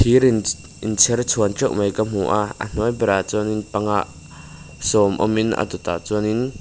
thir in thirinchher chhuan teuh mai ka hmu a a hnuai berah chuan panga sawm awmin a dawt ah chuan in.